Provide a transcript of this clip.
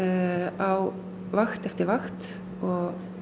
á vakt eftir vakt og